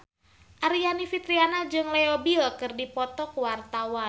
Aryani Fitriana jeung Leo Bill keur dipoto ku wartawan